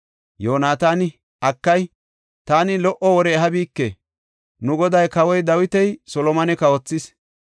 Yoonataani, “Akay, taani lo77o wore ehabike! Nu goday Kawoy Dawiti Solomone kawothis.